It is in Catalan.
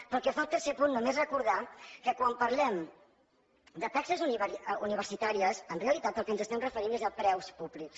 pel que fa al tercer punt només recordar que quan parlem de taxes universitàries en realitat al que ens estem referint és a preus públics